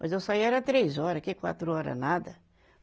Mas eu saía era três hora, que quatro hora nada.